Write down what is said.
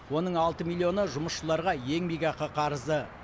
оның алты миллионы жұмысшыларға еңбекақы қарызы